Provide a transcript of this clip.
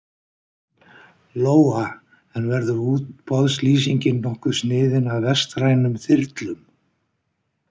Lóa: En verður útboðslýsingin nokkuð sniðin að vestrænum þyrlum?